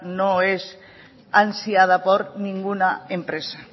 no es ansiada por ninguna empresa